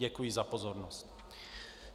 Děkuji za pozornost.